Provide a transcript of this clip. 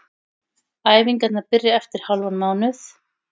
Æfingarnar byrja eftir hálfan mánuð.